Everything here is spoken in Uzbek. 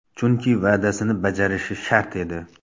Chunki va’dasini bajarishi shart edi.